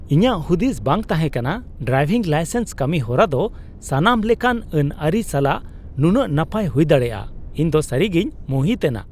ᱤᱧᱟᱜ ᱦᱩᱫᱤᱥ ᱵᱟᱝ ᱛᱟᱦᱮᱸ ᱠᱟᱱᱟ ᱰᱨᱟᱭᱵᱷᱤᱝ ᱞᱟᱭᱥᱮᱱᱥ ᱠᱟᱹᱢᱤᱦᱚᱨᱟ ᱫᱚ ᱥᱟᱱᱟᱢ ᱞᱮᱠᱟᱱ ᱟᱹᱱᱼᱟᱹᱨᱤ ᱥᱟᱞᱟᱜ ᱱᱩᱱᱟᱹᱜ ᱱᱟᱯᱟᱭ ᱦᱩᱭ ᱫᱟᱲᱮᱭᱟᱜᱼᱟ ᱾ ᱤᱧᱫᱚ ᱥᱟᱹᱨᱤᱜᱮᱧ ᱢᱩᱦᱤᱛ ᱮᱱᱟ ᱾